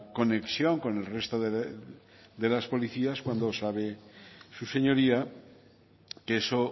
conexión con el resto de las policías cuando sabe su señoría que eso